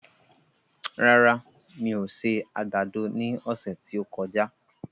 Rárá, mi ò se àgbàdo ní ọ̀sẹ̀ tí ó kọjá